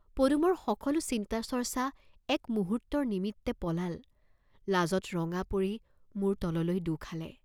পদুমৰ সকলো চিন্তা চৰ্চ্চা এক মুহূৰ্ত্তৰ নিমিত্তে পলাল, লাজত ৰঙা পৰি মূৰ তললৈ দোঁ খালে।